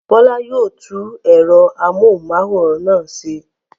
Bọ́lá yóò tú ẹ̀rọ amóhùmáwòhán náà ṣe.